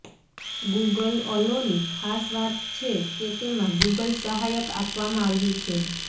Google Allo ની ખાસ વાત છે કે તેમાં ગૂગલ સહાયક આપવામાં આવ્યું છે